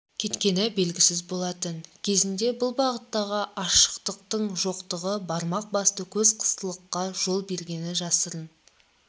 кеткені белгісіз болатын кезінде бұл бағыттағы ашықтықтың жоқтығы бармақ басты көз қыстылыққа жол бергені жасырын